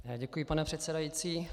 Děkuji, pane předsedající.